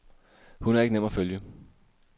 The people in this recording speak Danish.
Hun er ikke nem at følge.